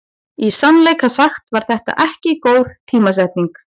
Í sannleika sagt var þetta ekki góð tímasetning.